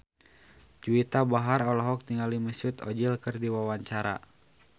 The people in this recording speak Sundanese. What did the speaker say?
Juwita Bahar olohok ningali Mesut Ozil keur diwawancara